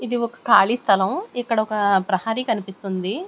ఇది ఒక ఖాళీ స్థలం ఇక్కడ ఒక ప్రహారీ కనిపిస్తుంది.